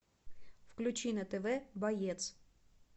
включи на тв боец